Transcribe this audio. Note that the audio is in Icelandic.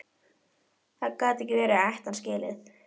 Það gat ekki verið að ég ætti hann skilið.